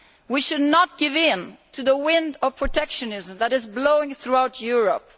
We should not give in to the wind of protectionism that is blowing throughout Europe.